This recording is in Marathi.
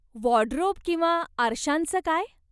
वाॅर्डरोब किंवा आरशांचं काय?